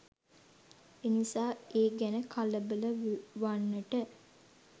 එනිසා ඒ ගැන කලබලවන්නට